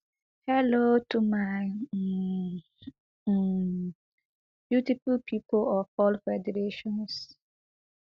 hello to my um um beautiful pipo of all federations